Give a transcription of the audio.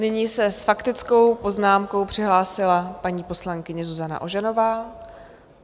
Nyní se s faktickou poznámkou přihlásila paní poslankyně Zuzana Ožanová.